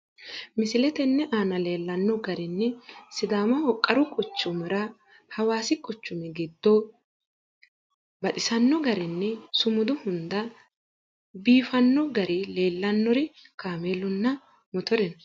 Misile tenne aana leellanno garinni sidaamaho qaru quchumira hawaasi quchumi giddo baxxino garinni sumudu hunda iifanno gari leellannori kaameellunna motore no.